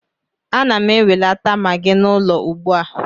Ana m enwelata Magị n'ụlọ ugbua